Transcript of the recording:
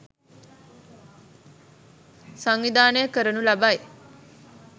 සංවිධානය කරනු ලබයි.